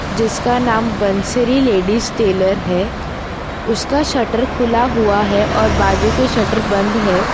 जिसका नाम Bansari ladies tailor है उसका शटर खुला हुआ है और बाजू के शटर बंद है।